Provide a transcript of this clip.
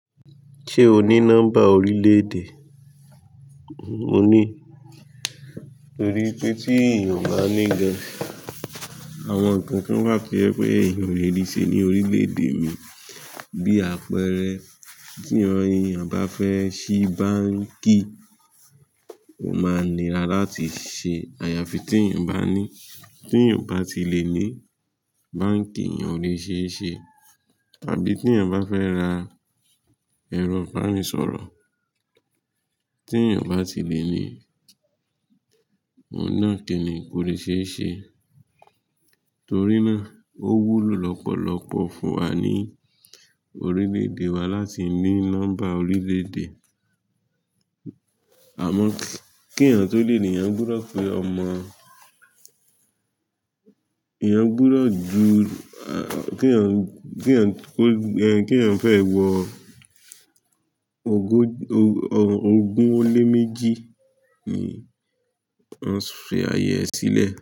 Ṣé o ní nọ́mbà oríle-èdè? Mò ní torí pé tí èèyàn ò bá ní gan, àwọn nǹkan kan wà tio jẹ wipé èèyàn olè rí se ní orílẹ̀-èdè mi. Bí àpẹẹrẹ, tí èèyàn bá fẹ́ ṣí báǹkì, ó máa níra láti ṣe àyàfi tí èèyàn bá ní. Tí èèyàn bá ti lè ní, báǹkì yẹn o lè ṣe é ṣe. Tàbí tí èèyàn bá fẹ́ ra ẹ̀rọ ìbánisọ̀rọ̀, tí èèyàn bá ti lè ní, òun náà kì ní ko lè ṣe é ṣe. Torí náà ó wúlò lọ́pọ̀lọpọ̀ fún wa ní orílẹ̀-èdè wa láti ní nọ́mbà orílẹ̀-èdè. Àmọ́ kí èèyàn tó lè ní, èèyàn gbudọ̀ pé ọmọ-- èèyàn gbọdọ̀ ju-- kí èèyàn, kí èèyàn kó gbe, kí èèyàn fẹ́ ẹ wọ ogún, ogún o lé méjì ni won fi àyẹ̀ẹ́ sílẹ̀